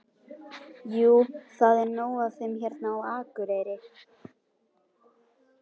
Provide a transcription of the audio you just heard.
Jú, það er nóg af þeim hérna á Akureyri.